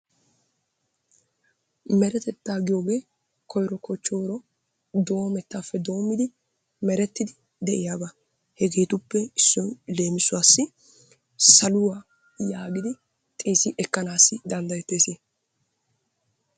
Meretettaa giyooge koyro kochooro doomettaappe doommidi merettidi de'iyaba. Hegeetuppe issoy leemissuwaassi saluwaa yaagidi xeessi ekkanaassi danddayettees.